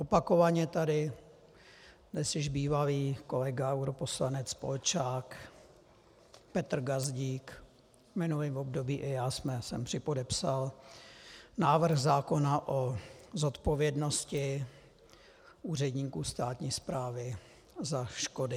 Opakovaně tady dnes již bývalý kolega europoslanec Polčák, Petr Gazdík, v minulém období i já jsem připodepsal návrh zákona o zodpovědnosti úředníků státní správy za škody.